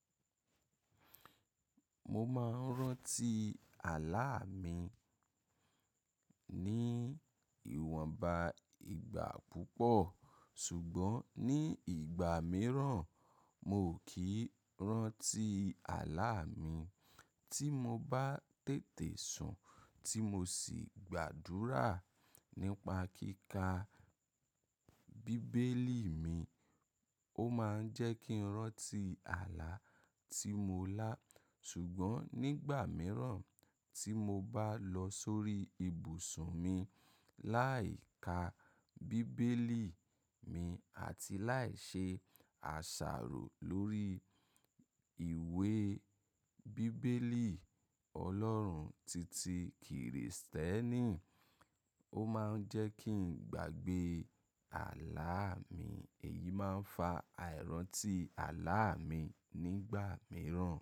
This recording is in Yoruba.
Mo máa ń rántí àlá mi ní ìwọnba ìgbà púpọ̀ ṣùgbọ́n ní ìgbà mìíràn mi o kì í rántí àlá mi. Tí mo bá tètè sùn tí mo sì gbàdúrà nípa kíkà bíbélì mi, ó máa ń jẹ́ kí n rántí àlá tí mo lá ṣùgbọ́n nígbà mìíràn tí mo bá lọ sórí ibùsùn mi láì ka bíbélì mi àti láì ṣe àṣàrò lórí ìwé bíbélì Ọlọ́run titi Kìrìsìtẹ́nì, ó máa ń jẹ́ kí n gbàgbé àlá mi. Èyí máa ń fa àìrántí àlá mi nígbà mìíràn.